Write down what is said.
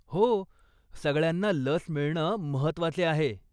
हो, सगळ्यांना लस मिळणं महत्वाचे आहे.